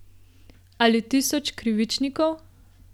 Ali tisoč krivičnikov?